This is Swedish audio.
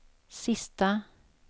sista